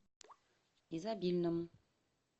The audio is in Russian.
изобильному